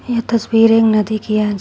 ये तस्वीर एक नदी की है।